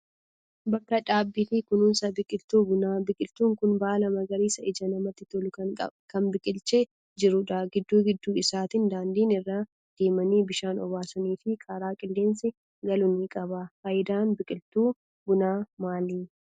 Bakka dhaabbii fi kunuunsa biqiltuu bunaa. Biqiltuun kun baala magariisa ija namaatti tolu kan biqilchee jirudha. Gidduu gidduu isaatiin daandiin irra deemanii bishaan obaasanii fi karaa qilleensi galu ni qaba. Faayidaan biqiltuu bunaa maali?